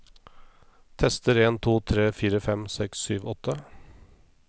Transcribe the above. Tester en to tre fire fem seks sju åtte